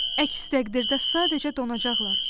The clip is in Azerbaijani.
Əks təqdirdə sadəcə donacaqlar.